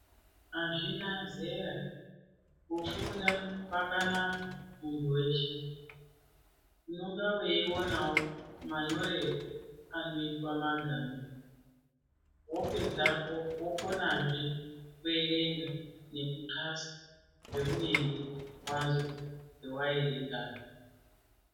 Azvina zera kufunda kwakanaka muntu weshe unonga weonawo manyorerwo anoitwa magama wopedzapo wokonazve kuerenga nekuxhlasa zveunenge wazwa pawaerengapo.